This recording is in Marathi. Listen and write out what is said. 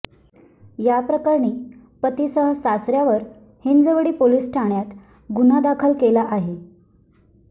याप्रकरणी पतीसह सासऱ्यावर हिंजवडी पोलिस ठाण्यात गुन्हा दाखल केला आहे